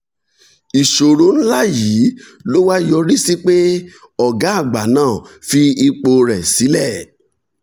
ìṣòro ńlá yìí ló wá yọrí sí pé ọ̀gá àgbà náà fi ipò rẹ̀ sílẹ̀.